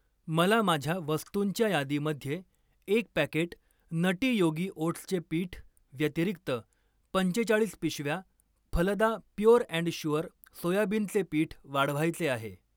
मला माझ्या वस्तुंच्या यादीमध्ये एक पॅकेट नटी योगी ओट्सचे पीठ व्यतिरिक्त पंचेचाळीस पिशव्या फलदा प्युअर अँड शुअर सोयाबिनचे पीठ वाढवायचे आहे.